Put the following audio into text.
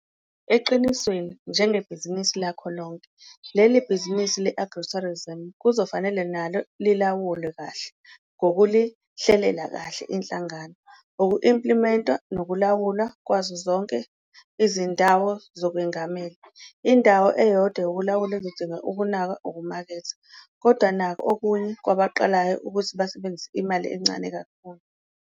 Eqinisweni, njengebhizinisi lakho lonke, leli bhizinisi le-agritourism kuzofanele nalo lilawulwe kahle ngokulihlelela kahle, inhlangano, uku-implimenta nokulawula zonke izindawo zokwengamela. Indawo eyodwa yokulawula ezodinga ukunakwa ukumaketha. Kodwa nakhu okunye kwabaqalayo ukuthi basebenzisa imali encane kakhulu.